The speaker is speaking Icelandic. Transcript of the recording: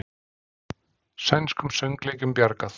Sænskum söngleikjum bjargað